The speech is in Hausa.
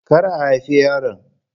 Kar a haifi yaron.